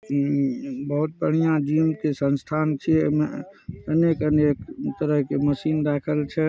इ बहुत बढ़िया जिम के संस्थान छिये एमे अनेक-अनेक तरह के मशीन राखल छै।